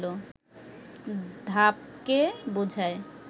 ধাপকে বোঝায়